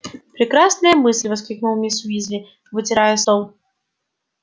прекрасная мысль воскликнула миссис уизли вытирая стол